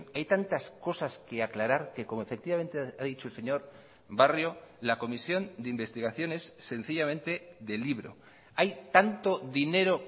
hay tantas cosas que aclarar que como efectivamente ha dicho el señor barrio la comisión de investigación es sencillamente de libro hay tanto dinero